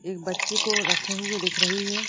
एक बच्चे को रखे हुए दिख रही है।